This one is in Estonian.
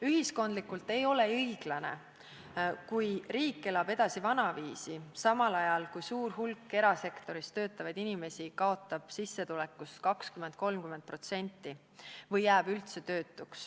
Ühiskondlikult ei ole õiglane, kui riik elab edasi vanaviisi, samal ajal kui suur hulk erasektoris töötavaid inimesi kaotab sissetulekus 20–30% või jääb üldse tööta.